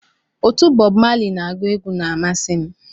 Otu Bob Marley na-agu egwu na amasị m